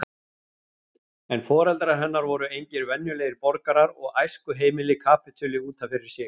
En foreldrar hennar voru engir venjulegir borgarar og æskuheimilið kapítuli út af fyrir sig.